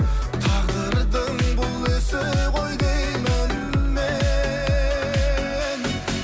тағдырдың бұл ісі ғой деймін мен